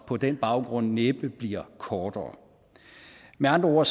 på den baggrund næppe bliver kortere med andre ord